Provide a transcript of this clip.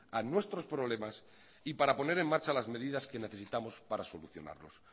a nuestros problemas y para poner en marcha las medidas que necesitamos para solucionarlos